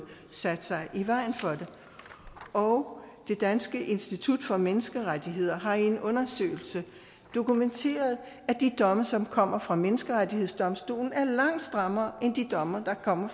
sat sig i vejen for det og det danske institut for menneskerettigheder har i en undersøgelse dokumenteret at de domme som kommer fra menneskerettighedsdomstolen er langt strammere end de domme der kommer